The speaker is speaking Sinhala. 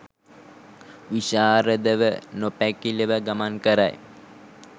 විශාරදව නොපැකිලව ගමන් කරයි.